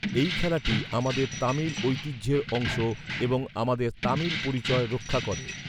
এই খেলাটি আমাদের তামিল ঐতিহ্যের অংশ এবং আমাদের তামিল পরিচয় রক্ষা করে।